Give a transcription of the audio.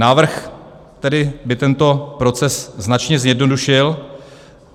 Návrh by tedy tento proces značně zjednodušil.